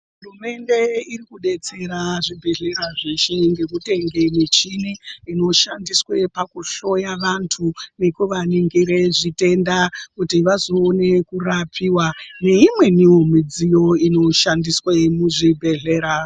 Hurumende irikubetsera zvibhedhleya zveshe nekutenge michini inoshandiswe pakuhloya vantu nekuvaningire zvitenda. Kuti vazoone kurapiva neimwenivo midziyo inoshandiswe muzvibhedhlera.